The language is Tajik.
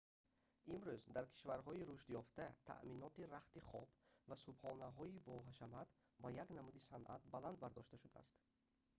имрӯз дар кишварҳои рушдёфта таъминоти рахти хоб ва субҳонаҳои боҳашамат ба як намуди санъат баланд бардошта шудааст